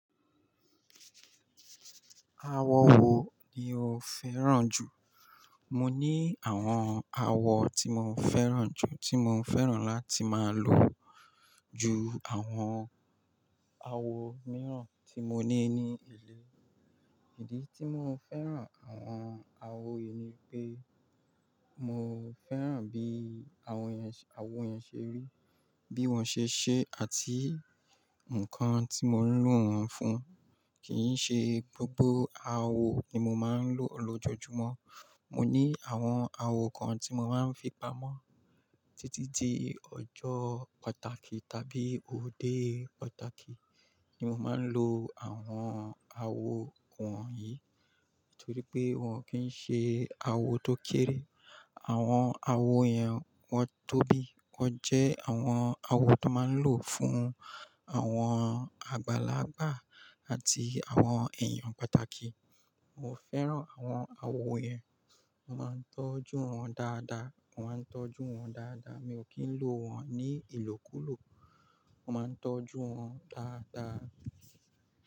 Awo wo ni o fẹ́ràn jù? Mo ní àwọn awọ tí mo fẹ́ràn jù, tí mo fẹ́ràn láti máa lò ju àwọn awo mìíràn tí mo ní ní ilé. Ìdí tí mo fẹ́ràn àwọn awo yìí ni pé mo fẹ́ràn bí àwọn awo yẹn ṣe rí, bí wọ́n ṣe ṣe àti ǹkan tí mo ń lò wọ́n fún. Kì í ṣe gbogbo awo ni mo máa ń lò lójoojúmọ́. Mo ní àwọn awo kan tí mo máa ń fi pamọ́ títí di ọjọ́ pàtàkì tàbí òde pàtàkì ni mo máa ń lo àwọn awo wọ̀nyí. Nítorí pé wọ́n kì í ṣe awo tó kéré. Àwọn awo yẹn wọ́n tóbi, wọ́n jẹ́ àwọn awo tó máa ń lò fún àwọn àgbàlagbà àti àwọn èèyàn pàtàkì. Mo fẹ́ràn àwọn awo yẹn. Mo máa ń tọ́jú wọ́n dáadáa. Mo máa ń tọ́jú wọ́n dáadáa. Mi ò kí ń lò wọ́n ní ìlòkùlò. Mo máa ń tọ́jú wọ́n dáadáa.